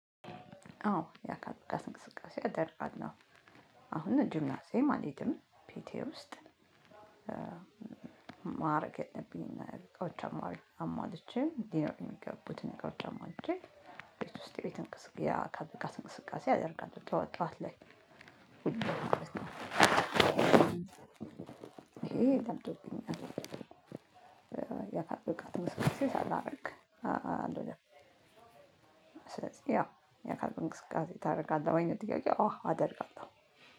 አዎ ያካል ብቃት እንቅስቃሴ አደርጋለሁ። አሁን ጂምናዝየም አልሄድም ቤቴ ውስጥ እ ማረግ ያለብኝን እቃዎች አሟልቼ እንዲኖር የሚገቡትን ከውጪ አሟልቼ። ቤት ውስጥ የቤት እንቅስቃሴ የአካል ብቃት እንቅስቃሴ አደርጋለሁ ጠዋት ጠዋት ላይ ይሄ። ለምዶብኛል እ የአካል ብቃት እንቅስቃሴ ሳላረግ አልውልም። ስለዚህ ነው ያው ያካል ብቃት እንቅስቃሴ ታደርጋለህ ወይ ነው ጥያቄው? አዎ አደርጋለሁ።